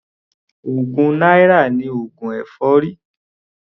Ogún náírà ni oògùn èfọ́rí.